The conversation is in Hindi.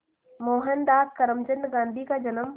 मोहनदास करमचंद गांधी का जन्म